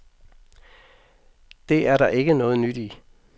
Det er der ikke noget nyt i.